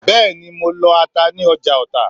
Bẹ́ẹ̀ni mo de lọ ata ní ọjà Ọta